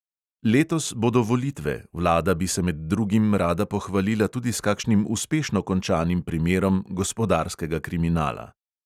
Letos bodo volitve, vlada bi se med drugim rada pohvalila tudi s kakšnim uspešno končanim primerom gospodarskega kriminala.